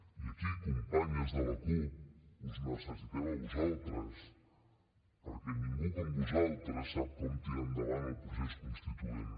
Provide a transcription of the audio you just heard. i aquí companyes de la cup us necessitem a vosaltres perquè ningú com vosaltres sap com tirar endavant el procés constituent